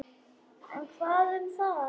En hvað um það?